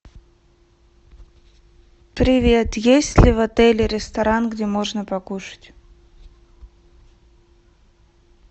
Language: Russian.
привет есть ли в отеле ресторан где можно покушать